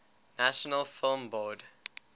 national film board